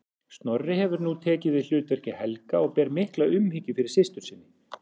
Snorri hefur nú tekið við hlutverki Helga og ber mikla umhyggju fyrir systur sinni.